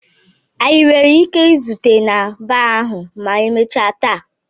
Anyị nwere ike izute na baa ahụ ma emechaa taa?